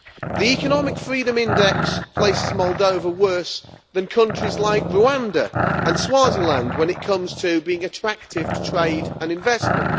The Economic Freedom Index places Moldova worse than countries like Rwanda and Swaziland when it comes to being attractive to trade and investment.